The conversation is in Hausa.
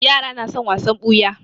Yara na son wasan ɓuya.